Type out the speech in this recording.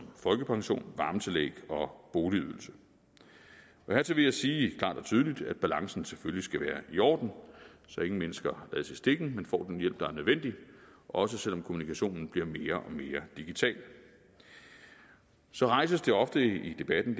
folkepension varmetillæg og boligydelse hertil vil jeg sige klart og tydeligt at balancen selvfølgelig skal være i orden så ingen mennesker lades i stikken men får den hjælp der er nødvendig også selv om kommunikationen bliver mere og mere digital så rejses det ofte i debatten